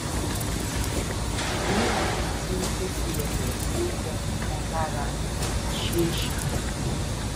ìdí nìyẹn tí fífi ẹdọ sí ẹnì kan lára fi ṣeé ṣe